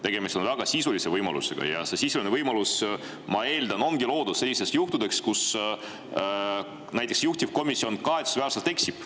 Tegemist on väga sisulise võimalusega ja see sisuline võimalus, ma eeldan, ongi loodud sellisteks juhtudeks, kus näiteks juhtivkomisjon kahetsusväärselt eksib.